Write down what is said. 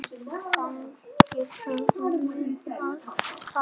Þangað verðum við að fara.